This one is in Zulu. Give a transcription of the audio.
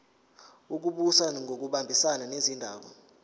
wezokubusa ngokubambisana nezindaba